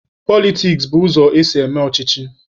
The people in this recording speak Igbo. Politiks bụ ụzọ esi eme ọchịchị.